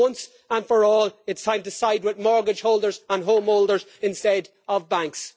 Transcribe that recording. For once and for all, it's time to side with mortgage holders and home owners instead of banks.